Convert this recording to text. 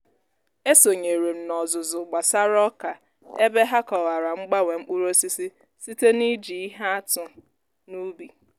e sonyeere m n'ọzụzụ gbasara ọka ebe ha kọwara mgbanwe mkpụrụ osisi site n'iji ihe atụ n'ubi